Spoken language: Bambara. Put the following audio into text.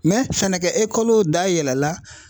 sɛnɛkɛ dayɛlɛ la.